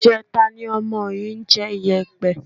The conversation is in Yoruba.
Ìjẹta ni ọmọ yìí ń jẹ iyẹ̀pẹ̀